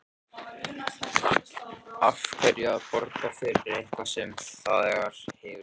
Af hverju að borga fyrir eitthvað sem þegar hefur gerst?